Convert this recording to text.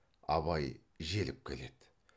абай желіп келеді